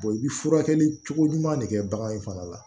i bɛ furakɛli cogo ɲuman de kɛ bagan in fana la